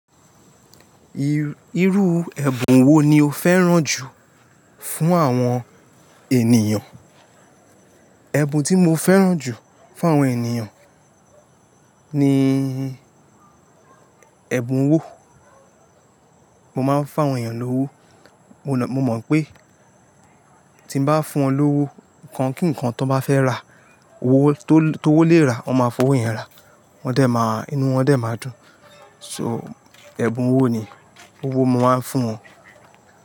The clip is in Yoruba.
Irú ẹ̀bùn wo ni o fẹ́ràn jù fún àwọn ènìyàn? Ẹ̀bùn tí mo fẹ́ràn jù fún àwọn ènìyàn ni ẹ̀bùn owó. Mo máa ń fún àwọn ènìyàn lówó, mo mọ̀ pé tí n bá fún wọn lówó, nǹkan kí nǹkan ton bá fẹ́ rà tó wó lè rà, wọ́n máa fọwọ́ yẹn rà, wọn dẹ̀ máa, inú wọn dẹ̀ máa dùn. So, ẹ̀bùn owó ni, owó mo máa ń fún wọn.